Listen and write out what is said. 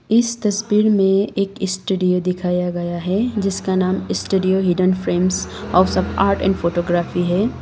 इस तस्वीर में एक स्टूडियो दिखाया गया है जिसका नाम studio hidden friends house of art and photography है।